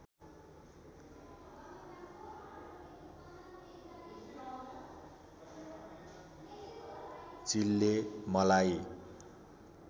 चिलले मलाई